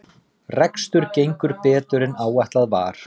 Rekstur gengur betur en áætlað var